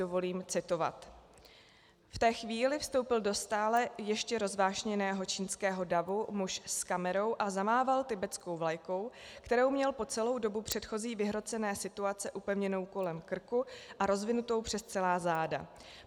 Dovolím citovat: "V té chvíli vstoupil do stále ještě rozvášněného čínského davu muž s kamerou a zamával tibetskou vlajkou, kterou měl po celou dobu předchozí vyhrocené situace upevněnou kolem krku a rozvinutou přes celá záda.